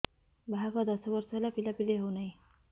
ବାହାଘର ଦଶ ବର୍ଷ ହେଲା ପିଲାପିଲି ହଉନାହି